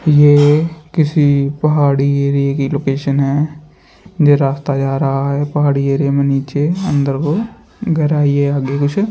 ये किसी पहाड़ी एरिये की लोकेशन है। ये रास्ता जा रहा पहाड़ी एरिया में निचे अंदर को गहराई है आगे कुछ --